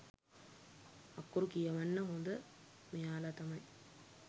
අකුරු කියවන්න හොඳ මෙයාල තමයි.